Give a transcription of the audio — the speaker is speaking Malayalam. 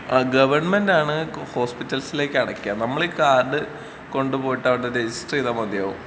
ആഹ് ഗവണ്മെന്റ് ആണ് ഹോസ്പിറ്റൽസിലേക്ക് അടക്കാ. നമ്മളീ കാർഡ് കൊണ്ട് പോയിട്ട് അവിടെ രജിസ്റ്റർ ചെയ്താ മതിയാവും.